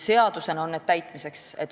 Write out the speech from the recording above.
Seadusena on need täitmiseks.